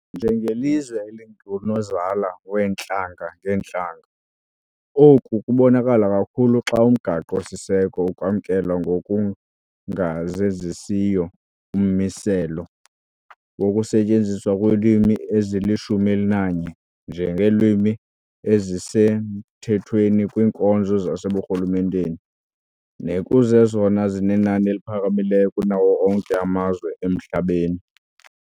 Njengelizwe elingunozala weentlanga-ngeentlanga, oku kubonakala kakhulu xa umgaqo siseko ukwamkela ngokungazenzisiyo ummiselo wokusetyenziswa kweelwimi ezili-11 nje ngeelwimi ezisemthethweni kwiinkonzo zaseburhulumenteni, nekuzezona zinenani eliphakamileyo kunawo onke amazwe emhlabeni.